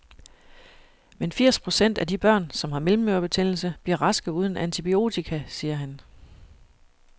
Men firs procent af de børn, som har mellemørebetændelse, bliver raske uden antibiotika, siger han.